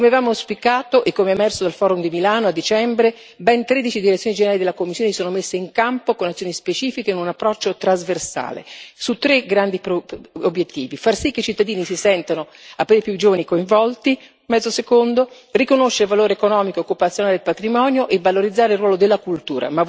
Come avevamo auspicato e come è emerso dal forum di Milano a dicembre, ben 13 Direzioni generali della Commissione si sono messe in campo con azioni specifiche in un approccio trasversale su tre grandi obiettivi far sì che i cittadini, in particolare i più giovani, si sentano coinvolti, riconoscere il valore economico e occupazionale del patrimonio e valorizzare il ruolo della cultura.